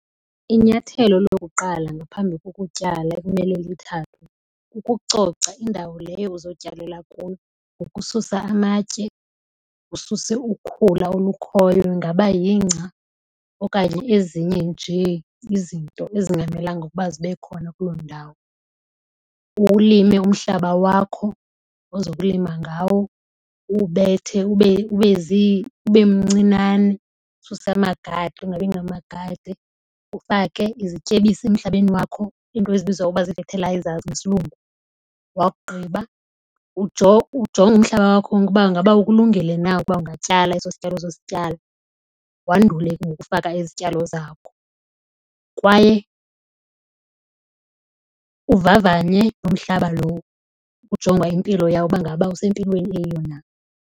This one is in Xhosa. Inyathelo lokuqala ngaphambi kokutyala ekumele lithathwe kukucoca indawo leyo uzotyalela kuyo ngokususa amatye, ususe ukhula olukhoyo ingaba yingca okanye ezinye nje izinto ezingamelanga ukuba zibe khona kuloo ndawo. Uwulime umhlaba wakho ozokulima ngawo uwubethe ube mncinane ususe amagade angabi ngamagade. Ufake izityebisi emhlabeni wakho into ezibizwa ngokuba zii-fertilizers ngesiLungu. Wakugqiba ujonge umhlaba wakho uba ngaba ukulungele na ukuba ungatyala eso sityalo uzosityala wandule ke ngoku ukufaka izityalo zakho. Kwaye uvavanye loo mhlaba lowo ujongwa impilo yawo uba ngaba usempilweni eyiyo na.